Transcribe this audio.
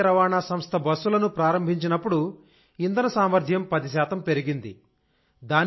ప్రాంతీయ రవాణా సంస్థ బస్సులను ప్రారంభించినప్పుడుఇంధన సామర్థ్యం 10 శాతం పెరిగింది